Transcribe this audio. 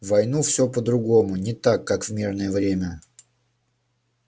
в войну всё по-другому не так как в мирное время